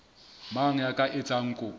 mang ya ka etsang kopo